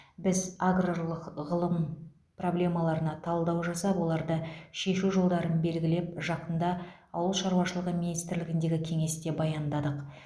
біз аграрлық ғылым проблемаларына талдау жасап оларды шешу жолдарын белгілеп жақында ауыл шаруашылығы министрлігіндегі кеңесте баяндадық